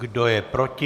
Kdo je proti?